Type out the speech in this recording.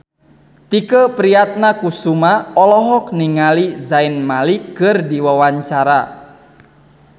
Tike Priatnakusuma olohok ningali Zayn Malik keur diwawancara